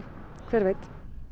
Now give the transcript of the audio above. hver veit